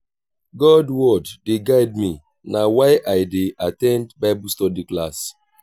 god word dey guide me na why i dey at ten d bible study class.